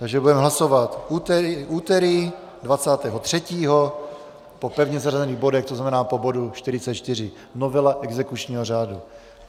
Takže budeme hlasovat úterý 23. po pevně zařazených bodech, což znamená po bodu 44, novela exekučního řádu.